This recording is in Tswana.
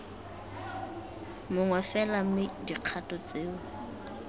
mongwe fela mme dikgato tseo